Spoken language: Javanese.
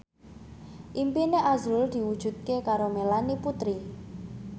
impine azrul diwujudke karo Melanie Putri